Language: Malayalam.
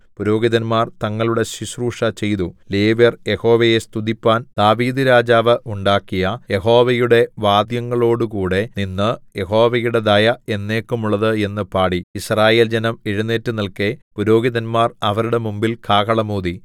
പുരോഹിതന്മാർ തങ്ങളുടെ ശുശ്രൂഷചെയ്തു ലേവ്യർ യഹോവയെ സ്തുതിപ്പാൻ ദാവീദ്‌ രാജാവ് ഉണ്ടാക്കിയ യഹോവയുടെ വാദ്യങ്ങളോടുകൂടെ നിന്ന് യഹോവയുടെ ദയ എന്നേക്കുമുള്ളത് എന്ന് പാടി യിസ്രായേൽജനം എഴുന്നേറ്റു നില്‍ക്കെ പുരോഹിതന്മാർ അവരുടെ മുമ്പിൽ കാഹളം ഊതി